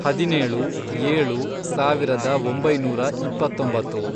ಹದಿನೇಳು, ಏಳು, ಸಾವಿರದ ಒಂಬೈನೂರ ಇಪ್ಪತ್ತೊಂಬತ್ತು